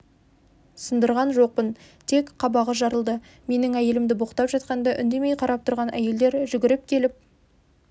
сындырған жоқпын тек қабағы жарылды менің әйелімді боқтап жатқанда үндемей қарап тұрған әйелдер жүгіріп келіп